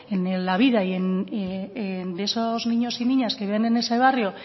en la vida de esos niños y niñas que viven en ese barrio